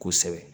Kosɛbɛ